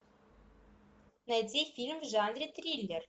найди фильм в жанре триллер